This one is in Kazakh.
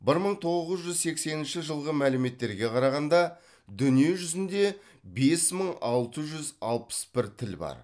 бір мың тоғыз жүз сексенінші жылғы мәліметтерге қарағанда дүние жүзінде бес мың алты жүз алппыс бір тіл бар